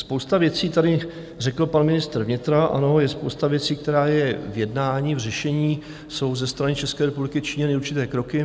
Spousta věcí, tady řekl pan ministr vnitra, ano, je spousta věcí, která je v jednání, v řešení, jsou ze strany České republiky činěny určité kroky.